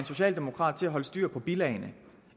socialdemokrat til at holde styr på bilagene